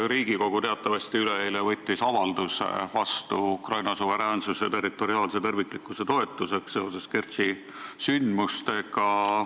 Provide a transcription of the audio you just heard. Riigikogu võttis teatavasti üleeile vastu avalduse Ukraina suveräänsuse ja territoriaalse terviklikkuse toetuseks seoses Kertši sündmustega.